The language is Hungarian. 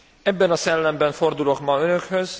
Ebben a szellemben fordulok ma önökhöz.